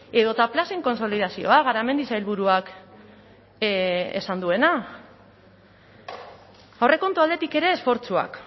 edota plazen kontsolidazioa garamendi sailburuak esan duena aurrekontu aldetik ere esfortzuak